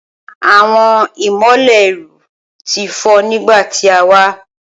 Awọn imọlẹ iru ti fọ nigba ti a wa